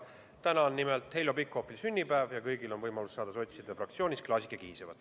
Täna on nimelt Heljo Pikhofil sünnipäev ja kõigil on võimalus saada sotside fraktsioonis klaasike kihisevat.